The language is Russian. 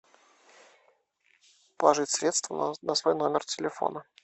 положить средства на свой номер телефона